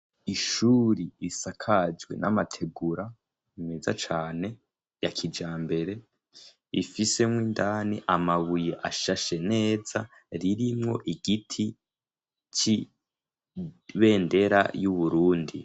Ishuri isakajwe n'amategura meza cane ya kija mbere ifisemwo indani amabuye ashashe neza ririmwo igiti c'ibendera y'uburundi.